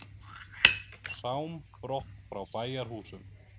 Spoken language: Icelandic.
Sám brott frá bæjarhúsum.